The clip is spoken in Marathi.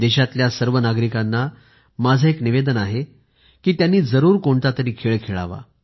देशातल्या सर्व नागरिकांना माझं एक निवेदन आहे की त्यांनी जरूर कोणतातरी खेळ खेळावा